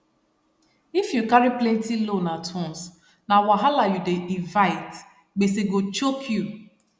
if you carry plenti loan at once na wahala you dey invite gbese go choke you